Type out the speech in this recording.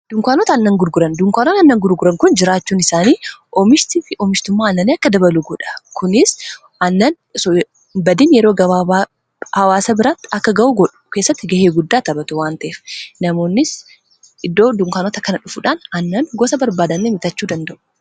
Dunkaanota aannan gurguran dunkaanon annan gurguran kun jiraachuun isaanii omishtii fi oomishtummaa annanii akka dabalu goodha kunis annan badin yeroo hawaasa biraatti akka ga'uu god keessatti ga'ee guddaa taphatu waanteef namoonnis iddoo dunkaanota kana dhufuudhaan annan gosa barbaadan bitachuu danda'u.